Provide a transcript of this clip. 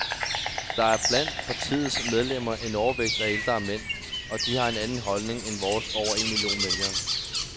Der er blandt partiets medlemmer en overvægt af ældre mænd, og de har en anden holdning end vores over en million vælgere.